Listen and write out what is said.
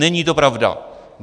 Není to pravda.